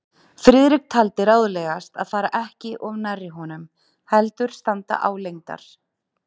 Friðrik taldi ráðlegast að fara ekki of nærri honum, heldur standa álengdar.